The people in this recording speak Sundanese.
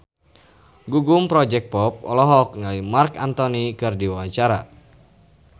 Gugum Project Pop olohok ningali Marc Anthony keur diwawancara